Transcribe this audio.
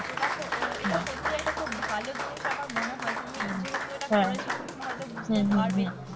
তো দেখো এটা সত্যিই একটা খুব ভালো জিনিস আমার মনে হয় তুমি যেহেতু এটা করেছো তুমি হয়তো বুঝতে পারবে,